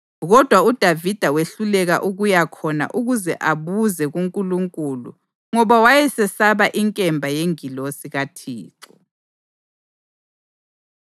Kodwa uDavida wehluleka ukuya khona ukuze abuze kuNkulunkulu ngoba wayesesaba inkemba yengilosi kaThixo.